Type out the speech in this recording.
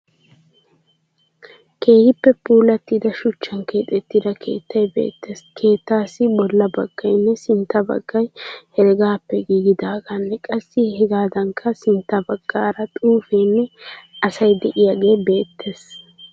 Keehippe puullatida shuchchan keexettida keettayi beettees. Keettaassi bolla baggayinne sintta baggay heregaappe giigidaageenne qassi hegaadankka sintta baggaara xuufenne asayi de'iyagee beettes.